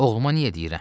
Oğluma niyə deyirəm?